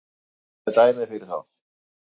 Hann kláraði dæmið fyrir þá